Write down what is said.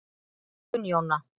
Gunnjóna